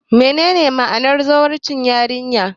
Menene ma'anar zawarcin yarinya?